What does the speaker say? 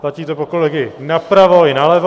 Platí to pro kolegy napravo i nalevo.